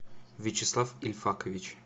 вячеслав ильфакович